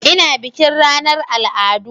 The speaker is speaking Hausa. Ina bikin ranar al'adu